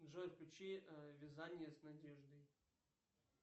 джой включи вязание с надеждой